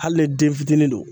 Hali ni den fitinin do